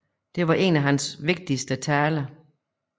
Det var en af hans vigtigste taler